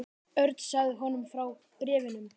Örn sagði honum frá bréfunum.